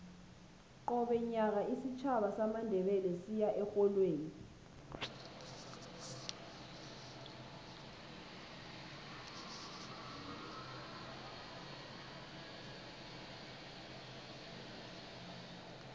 qobe nyaka isitjhaba samandebele siya erholweni